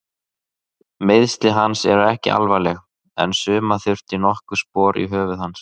Meiðsli hans eru ekki alvarleg en sauma þurfti nokkur spor í höfuð hans.